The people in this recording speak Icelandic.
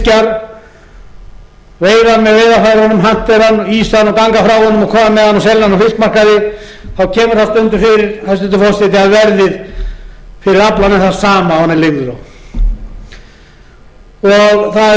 fiskjar veiða með veiðarfærunum hantera hann ísa hann og ganga frá honum og kom með hann og selja hann á fiskmarkaði þá kemur það stundum fyrir hæstvirtur forseti að verðið fyrir aflann er það sama og menn leigðu það á